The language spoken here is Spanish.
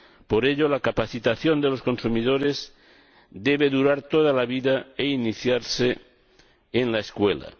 Por ello, la capacitación de los consumidores debe durar toda la vida e iniciarse en la escuela.